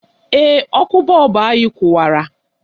Ee, ọkụ bọọbụ anyị kụwara